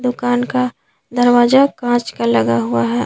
दुकान का दरवाजा कांच का लगा हुआ है।